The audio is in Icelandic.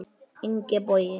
Ingi Bogi.